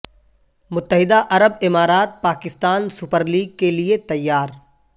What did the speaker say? متحدہ عرب امارات پاکستان سپر لیگ کے لیے تیار